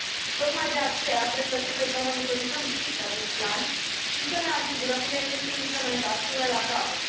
Tocmai de aceea cred că trebuie să monitorizăm strict acest plan și să ne asigurăm că el este implementat până la capăt.